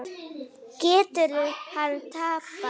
Getur hann tapað!